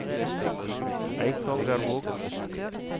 Eikangervåg